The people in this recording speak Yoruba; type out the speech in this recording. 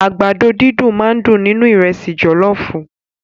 Àgbàdo dídùn máà ń dùn nínú ìrẹ́sì jọlọọfu.